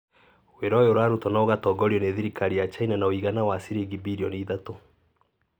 Wĩra ũyũ ũrarutwo na ũgatongorio nĩ thirikari ya China na ũigana wa ciringi birioni ithatũ.